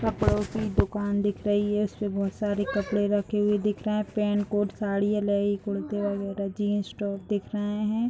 कपड़ो की दुकान दिख रही है उसमे बहुत सारे कपड़े रखे हुए दिख रहे है पेंट कोट साड़ियां लेगी कुर्तिया वगेरह जीन्स टॉप दिख रहे है।